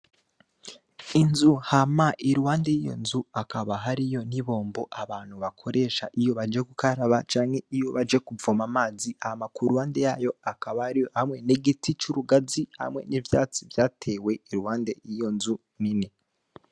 Inzu hama iruhande y'iyo nzu akaba hariyo ni bombo abantu bakoresha iyo baje kukaraba canke iyo baje kuvoma amazi ama kuruhande yayo akaba ariyo hamwe n'igiti c'urugazi hamwe n'ivyatsi vyatewe iruhande yiyo nzu nini.